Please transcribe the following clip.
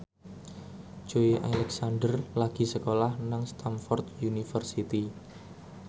Joey Alexander lagi sekolah nang Stamford University